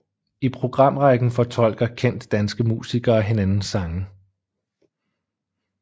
I programrækken fortolker kendte danske musikere hinandens sange